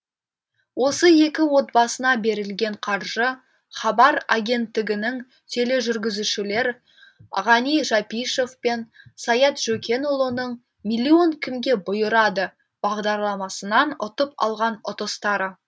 осы екі отбасына берілген қаржы хабар агенттігінің тележүргізушілері ғани жапишов пен саят жөкенұлының миллион кімге бұйырады бағдарламасынан ұтып алған ұтыстары